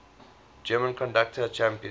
german conductor championed